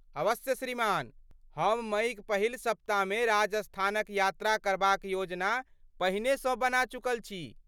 अवश्य श्रीमान। हम मइक पहिल सप्ताहमे राजस्थानक यात्रा करबाक योजना पहिनेसँ बना चुकल छी।